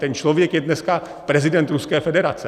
Ten člověk je dneska prezident Ruské federace.